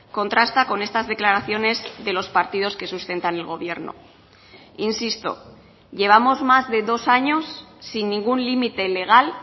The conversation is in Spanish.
contrasta con estas declaraciones de los partidos que sustentan el gobierno insisto llevamos más de dos años sin ningún límite legal